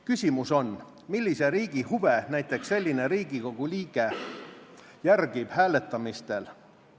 Küsimus on, millise riigi huve näiteks selline Riigikogu liige hääletamisel järgib.